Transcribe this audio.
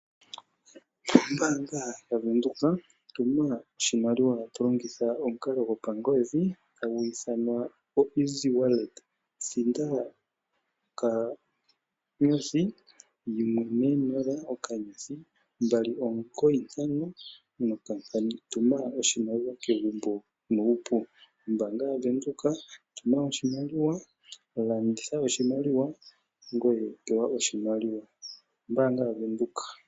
Ombaanga yaVenduka. Tuma oshimaliwa to longitha omukalo gopangodhi. Thinda *140*295#. Tuma oshimaliwa kegumbo nuupu. Ombaanga yaVenduka, tuma oshimaliwa, landitha oshimaliwa, ngoye pewa oshimaliwa. Ombaanga yaVenduka.